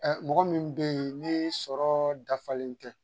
mɔgɔ min be yen ni sɔrɔ dafalen tɛ